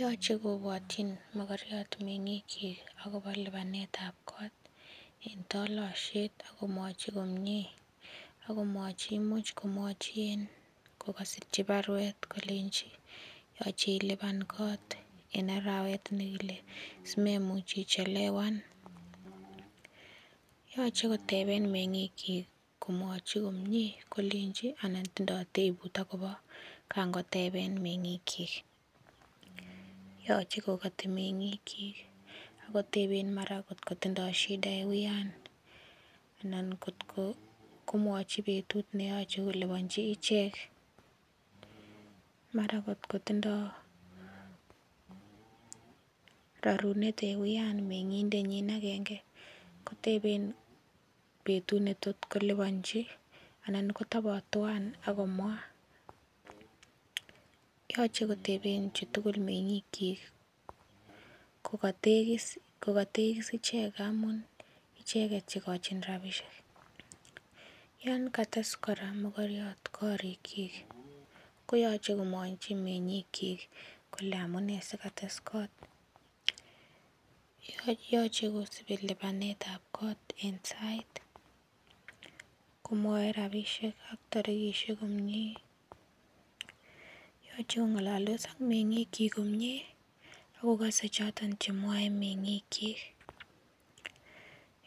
Yoche kobwotyin mokoriot meng'ik kyik akobo lipanet ab kot en tolosiet akomwochi komie akomwochi imuch komwochi kokosirchi baruet kolenji yoche ilipan kot en arawet nekile simemuch ichelewan yoche koteben meng'ik kyik komwochi komie kolenji anan tindoo tebut akobo kan koteben meng'ik kyik yoche kokoti meng'ik kyik akoteben mara kot kotindoo shida en uyan anan kotko komwochi betut neyoche koliponji ichek mara kot kotindoo rorunet en uyan meng'indet nyin agenge koteben betut netot koliponji anan kotobot twan akomwaa yoche koteben chutugul meng'ik kyik kokotegis ichek amun icheket chekochin rapisiek yon kates kora mokoriot koriik kyik koyoche komwochi meng'ik kyik kole amunee si kotes kot yoche kosibi lipanet ab kot en sait komwoe rapisiek ak tarikisiek komie yoche kong'ololdos ak meng'ik kyik komie ak kokose choton chemwoe meng'ik kyik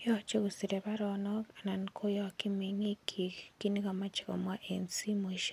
yoche kosire baronok anan koyokyin meng'ik kyik kit nekomoche komwaa en simoisiek